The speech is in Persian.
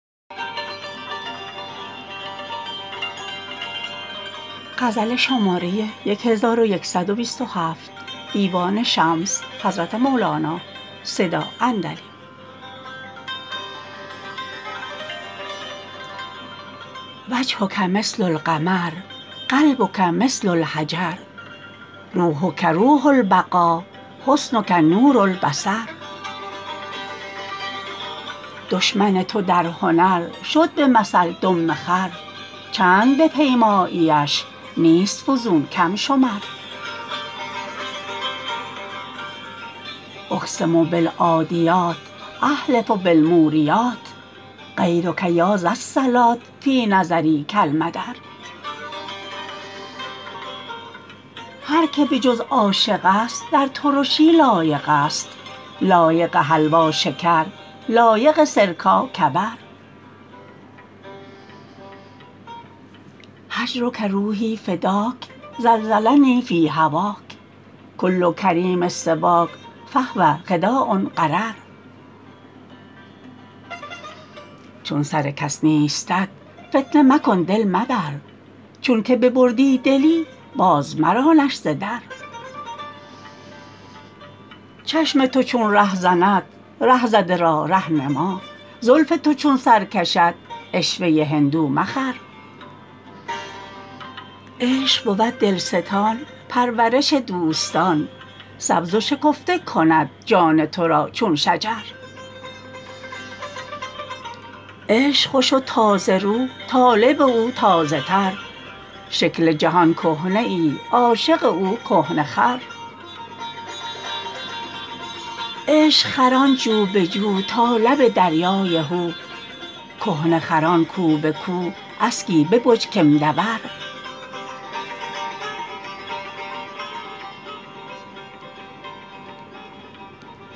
وجهک مثل القمر قلبک مثل الحجر روحک روح البقا حسنک نور البصر دشمن تو در هنر شد به مثل دم خر چند بپیماییش نیست فزون کم شمر اقسم بالعادیات احلف بالموریات غیرک یا ذا الصلات فی نظری کالمدر هر که به جز عاشقست در ترشی لایقست لایق حلوا شکر لایق سرکا کبر هجرک روحی فداک زلزلنی فی هواک کل کریم سواک فهو خداع غرر چون سر کس نیستت فتنه مکن دل مبر چونک ببردی دلی بازمرانش ز در چشم تو چون رهزند ره زده را ره نما زلف تو چون سر کشد عشوه هندو مخر عشق بود دلستان پرورش دوستان سبز و شکفته کند جان تو را چون شجر عشق خوش و تازه رو طالب او تازه تر شکل جهان کهنه ای عاشق او کهنه خر عشق خران جو به جو تا لب دریای هو کهنه خران کو به کو اسکی ببج کمده ور